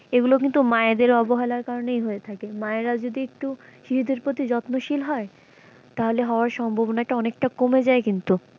এগুলো কিন্তু মায়েদের অবহেলার কারনেই হয়ে থাকে মায়েরা যদি একটু শিশুদের প্রতি যত্নশীল হয় তাহলে হওয়ার সম্ভাবনাটা অনেকটা কমে যায় কিন্তু।